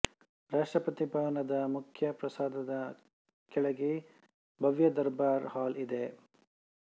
ರಾಷ್ಟ್ರಪತಿ ಭವನದ ಮುಖ್ಯ ಪ್ರಾಸಾದದ ಕೆಳಗೆ ಭವ್ಯ ದರ್ಬಾರ್ ಹಾಲ್ ಇದೆ